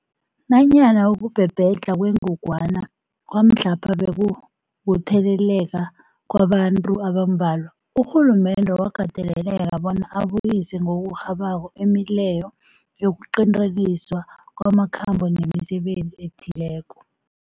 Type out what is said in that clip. Nanyana ukubhebhedlha kwengogwana kwamhlapha bekukutheleleka kwabantu abambalwa, urhulumende wakateleleka bona abuyise ngokurhabako imileyo yokuqinteliswa kwamakhambo nemisebenzi ethileko.